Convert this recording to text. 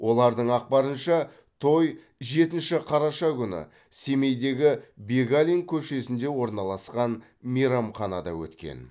олардың ақпарынша той жетінші қараша күні семейдегі бегалин көшесінде орналасқан мейрамханада өткен